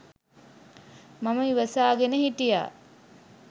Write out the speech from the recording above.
මම ඉවසාගෙන හිටියා.